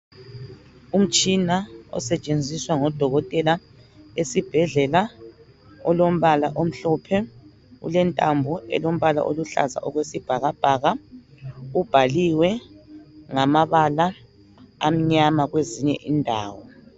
Umtshina osetshenziswa ngodokotela esibhedlela ulombala omhlophe ulentambo olombala oluhlaza okwesibhakabhaka , ubhaliwe ngamabala amnyama kwezinye indawo